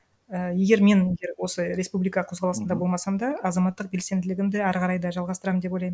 і егер мен егер осы республика қозғалысында болмасам да азаматтық белсенділігімді әрі қарай да жалғастырамын деп ойлаймын